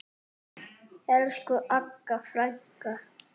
Elsku Agga frænka.